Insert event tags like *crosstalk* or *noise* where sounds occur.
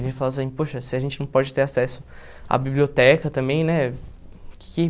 *unintelligible* poxa, se a gente não pode ter acesso à biblioteca também, né? Que